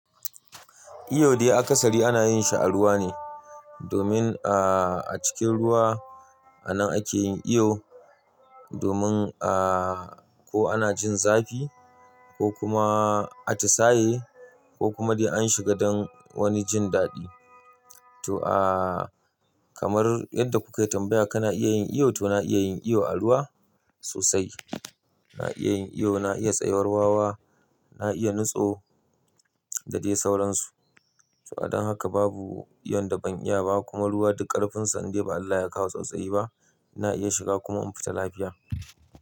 Iyo dai akasari ana yin shi a ruwa ne domin, ah, a cikin ruwa anan ake yin iyo domin, ah, ko ana jin zafi ko kuma, ah, ti saye ko kuma dai an shiga don wani jin daɗi. To ah, kamar yadda kuka yi tambaya kana iya yin iyo, to na iya yin iyo a ruwa sosai. Na iya yin iyo, na iya tsayuwar wawa, na iya nutso da dai sauransu. To adon haka babu iyo da ban iya ba kuma ruwa duk karfinsa indai ba Allah ya kawo tsautsayi ba ina iya shiga kuma in fita lafiya.